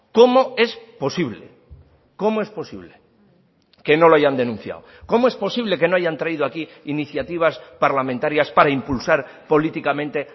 cómo es posible cómo es posible que no lo hayan denunciado cómo es posible que no hayan traído aquí iniciativas parlamentarias para impulsar políticamente